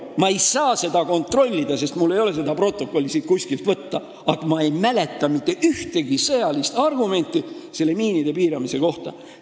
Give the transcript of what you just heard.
Ma ei saa seda kontrollida, sest mul ei ole seda protokolli kuskilt võtta, aga ma ei mäleta mitte ühtegi sõjalist argumenti miinide piiramise kohta.